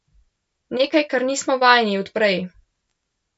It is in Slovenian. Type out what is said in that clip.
Nekaj, kar nismo vajeni od prej.